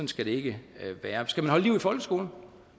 skal det ikke være skal man holde liv i folkeskolerne